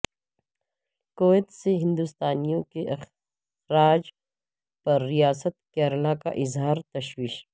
Kuwait سے ہندوستانیوں کے اخراج پر ریاست کیرالہ کا اظہار تشویش